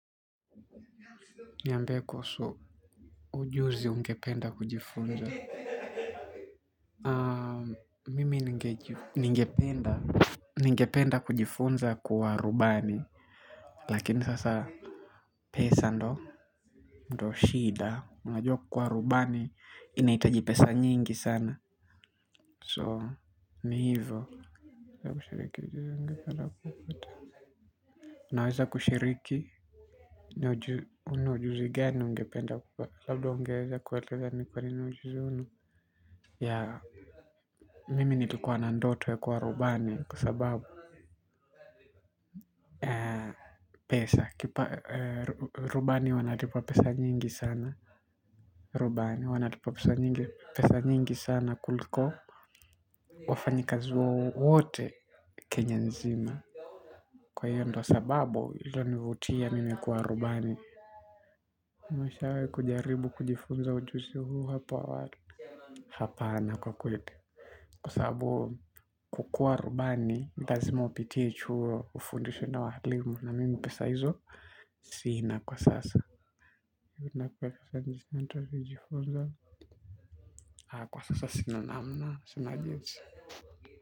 Niambie kuhusu ujuzi ungependa kujifunza. Mimi ningejiu Ningependa Ningependa kujifunza kuwa rubani. Lakini sasa pesa ndo ndo shida unajua kuwa rubani inahitaji pesa nyingi sana So ni hivo. Ujuzi ungependa kufuta. Unaweza kushiriki. Una ujuzi gani ungependa kupa labda ungeweza kuelezea ni kwa nina ujuzi huu. Ya mimi nilikuwa na ndoto ya kuwa rubani kwasababu pesa kipa rubani wanalipa pesa nyingi sana. Rubani wanalipwa pesa nyingi sana kuliko wafanyikazo wote Kenya nzima. Kwa hio ndo sababu ilo nivutia mimi kwa rubani. Mwishowe kujaribu kujifunza ujuzi huu hapo awali. Hapana kwa kweli kwa sababu kukuwa rubani nilazima upitie chuo ufundishwe na walimu na mimi pesa hizo. Sina kwa sasa. Kwa sasa sina namna sinajinsi.